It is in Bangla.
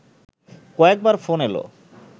কয়েকবার ফোন এলো